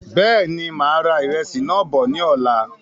Bẹ́ẹ̀ni, máa ra ìrẹsì náà bọ̀ ní ọ̀la